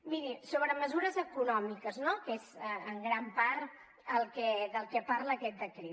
miri sobre mesures econòmiques no que és en gran part del que parla aquest decret